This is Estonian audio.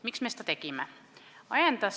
" Miks me seda tegime?